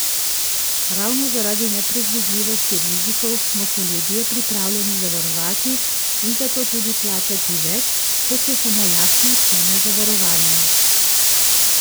Ravno zaradi nepredvidljivosti rizikov smo se ljudje pripravljeni zavarovati in zato tudi plačati več, kot je samo lastna cena zavarovanja.